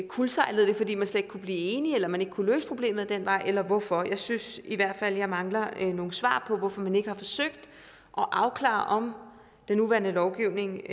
kuldsejlede det fordi man slet ikke kunne blive enig eller man ikke kunne løse problemet ad den vej eller hvorfor jeg synes i hvert fald at jeg mangler nogle svar på hvorfor man ikke har forsøgt at afklare om den nuværende lovgivning